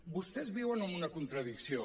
vostès viuen en una contradicció